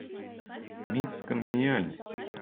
мисс конгениальность